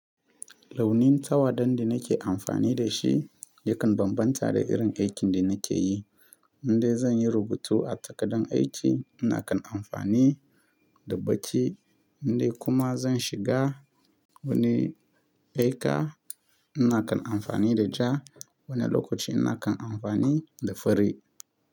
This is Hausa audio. Launin tawa da nake amfani da shi yakan bambanta da irin aikin da nake yi. Indai zan yi rubutu a takardar aiki, ina kan amfani da baƙi, inda kuma zan shiga wani beka ina kan amfani da ja, wani lokaci ina kan amfani da fari.